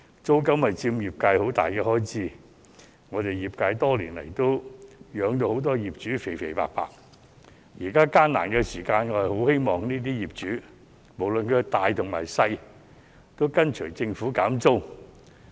租金是業界一項很大的開支，我們業界多年來把很多業主養得"肥肥白白"，現在艱難時期，我很希望不論是大業主還是小業主，也會跟隨政府減租。